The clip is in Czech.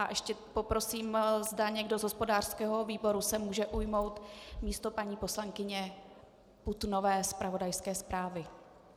A ještě poprosím, zda někdo z hospodářského výboru se může ujmout místo paní poslankyně Putnové zpravodajské zprávy.